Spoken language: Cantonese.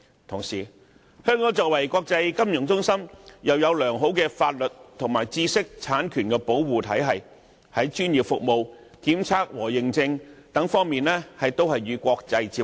同時，香港是國際金融中心，又有良好的法律及知識產權保護制度，專業服務、檢測和認證等方面亦與國際接軌。